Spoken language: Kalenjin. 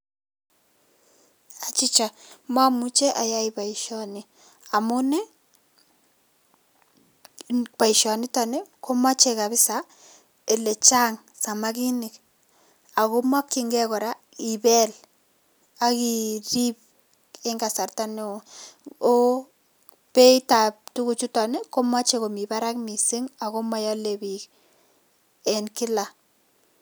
Achicha mamuchei ayai boisioni amun boisionito komachei kapsa ole chang samakinik ako makchinkei kora ibel ak kirip eng kasarta neo. Beitab tuguchuto komachei komi barak mising ako maale biik eng kila.